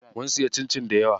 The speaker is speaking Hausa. Mun siya cincin dayawa.